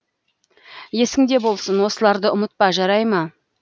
есіңде болсын осыларды ұмытпа жарай ма